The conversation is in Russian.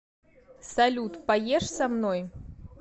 салют поешь со мной